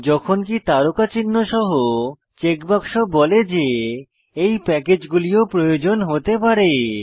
যখনকি তারকা চিহ্ন সহ চেকবাক্স বলে যে এই প্যাকেজগুলি ও প্রয়োজন হতে পারে